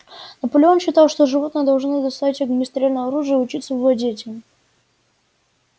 наполеон считал что животные должны достать огнестрельное оружие и учиться владеть им